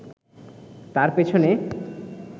তার পেছনে